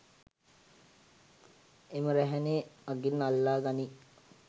එම රැහැනේ අගින් අල්ලා ගනියි.